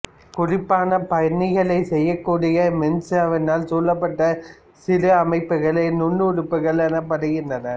குறிப்பான பணிகளைச் செய்யக்கூடிய மென்சவ்வினால் சூழப்பட்ட சிறு அமைப்புக்களே நுண்ணுறுப்புக்கள் எனப்படுகின்றன